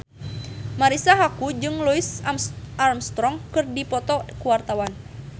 Marisa Haque jeung Louis Armstrong keur dipoto ku wartawan